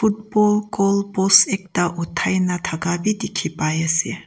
football goal post ekta utai na daka b diki pai ase.